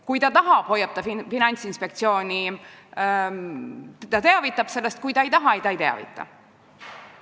Kui ta tahab, teavitab ta sellest Finantsinspektsiooni, kui ta ei taha, siis ta ei teavita.